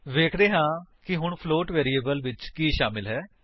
ਵੇਖਦੇ ਹਾਂ ਕਿ ਹੁਣ ਫਲੋਟ ਵੈਰਿਏਬਲ ਵਿੱਚ ਕੀ ਸ਼ਾਮਿਲ ਹੈ